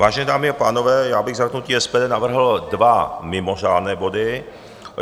Vážené dámy a pánové, já bych za hnutí SPD navrhl dva mimořádné body.